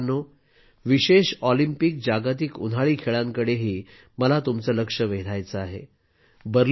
मित्रांनो विशेष ऑलिम्पिक जागतिक उन्हाळी खेळांकडेही मला तुमचे लक्ष वेधायचे आहे